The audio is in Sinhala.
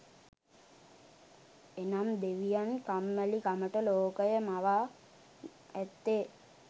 එනම් දෙවියන් කම්මැලිකමට ලෝකය මවා ඇත්තේ